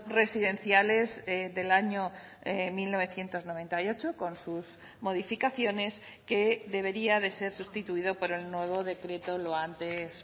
residenciales del año mil novecientos noventa y ocho con sus modificaciones que debería de ser sustituido por el nuevo decreto lo antes